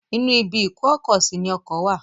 Inú ibi ìkó-ọkọ-sí ní ọkọ wà.